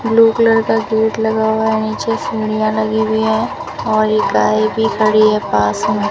Blue colour का gate लगा हुआ है नीचे सीढ़ियां लगी हुई है और एक गाय भी खड़ी है पास में।